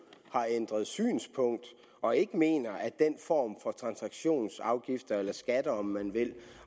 har ændret synspunkt og ikke mener at den form for transaktionsafgifter eller skatter om man vil